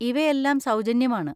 ഇവയെല്ലാം സൗജന്യമാണ്.